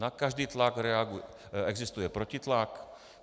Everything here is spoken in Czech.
Na každý tlak existuje protitlak.